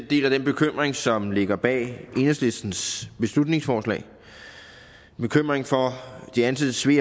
deler den bekymring som ligger bag enhedslistens beslutningsforslag en bekymring for de ansattes ve